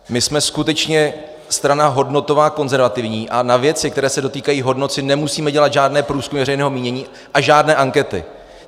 My jsme skutečně strana hodnotová, konzervativní a na věci, které se dotýkají hodnot, si nemusíme dělat žádné průzkumy veřejného mínění a žádné ankety.